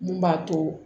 Mun b'a to